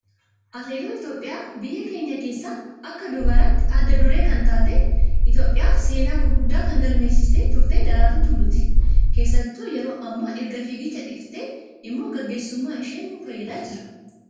Atileetota Itoophiyaa biyya keenyaa keessaa Akka dubaraatti adda duree kan taatee di Itoophiyaaf seenaa gurguddaa kan galmeessisaa turte Daraartuu Tulluuti. Keessattuu yeroo ammaa erga fiigicha dhiiftee immoo gaggeessuummaan ishee nu fayyadaa jira.